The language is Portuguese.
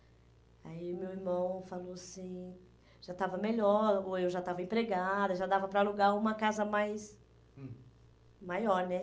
Aí meu irmão falou assim, já estava melhor, ou eu já estava empregada, já dava para alugar uma casa mais, hum, maior, né?